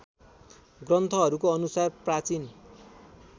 ग्रन्थहरूको अनुसार प्राचीन